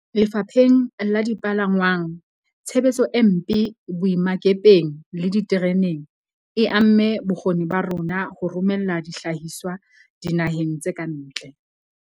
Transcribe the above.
Lefapheng la dipalangwang, tshebetso e mpe boemakepeng le ditereneng e amme bokgoni ba rona ba ho romela dihlahiswa dina heng tse ka ntle.